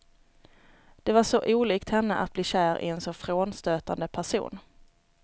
Det var så olikt henne att bli kär i en så frånstötande person.